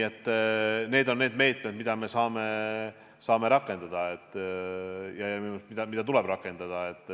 Need on need meetmed, mida me saame rakendada ja mida tuleb rakendada.